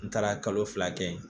N taara kalo fila kɛ yen